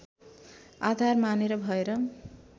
आधार मानेर भएर